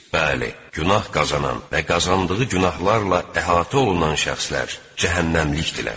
Bəli, günah qazanan və qazandığı günahlarla əhatə olunan şəxslər cəhənnəmlikdirlər.